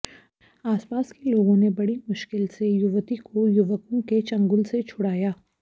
आसपास के लोगों ने बड़ी मुश्किल से युवती को युवकों के चंगुल से छुड़ाया